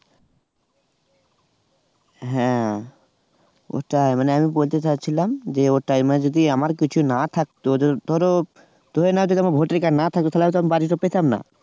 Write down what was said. হ্যাঁ ওটাই মানে আমি বলতে চাইছিলাম যে ওটাই মানে যদি আমার কিছু না থাকত জো ধরো ধরে নাও যদি আমার ভোটার card না থাকে তাহলে তো আমি বাড়িটা পেতাম না।